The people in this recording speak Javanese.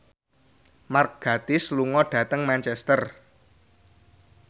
Mark Gatiss lunga dhateng Manchester